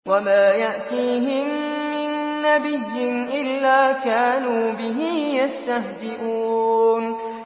وَمَا يَأْتِيهِم مِّن نَّبِيٍّ إِلَّا كَانُوا بِهِ يَسْتَهْزِئُونَ